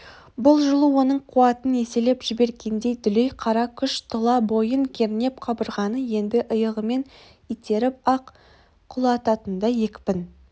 бұл жылу оның қуатын еселеп жібергендей дүлей қара күш тұла бойын кернеп қабырғаны енді иығымен итеріп-ақ құлататындай екпін